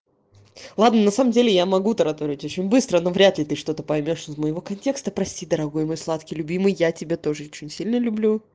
ладно на самом деле я могу тараторить очень быстро но вряд ли ты что-то поймёшь моего контекста прости дорогой мой сладкий любимый я тебя тоже очень сильно люблю